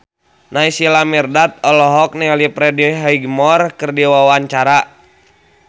Naysila Mirdad olohok ningali Freddie Highmore keur diwawancara